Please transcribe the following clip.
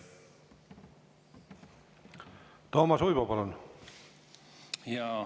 Toomas Uibo, palun!